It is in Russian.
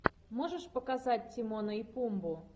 можешь показать тимона и пумбу